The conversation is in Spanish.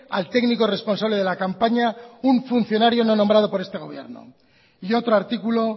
al técnico responsable de la campaña un funcionario no nombrado por este gobierno y otro artículo